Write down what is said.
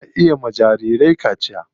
Ana iya yiwa jarirai kaciya.